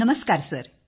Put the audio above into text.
नमस्कार सर